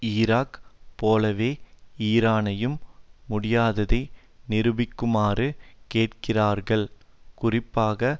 Iraq போலவே ஈரானையும் முடியாததை நிரூபிக்குமாறு கேட்கிறார்கள் குறிப்பாக